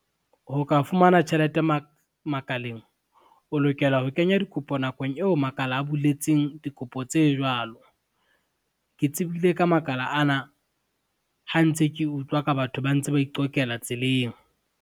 Ho ka fumana tjhelete makaleng, o lokela ho kenya dikopo nakong eo makala a buletseng dikopo tse jwalo. Ke tsebile ka makala ana, ha ntse ke utlwa ka batho ba ntse ba iqokela tseleng.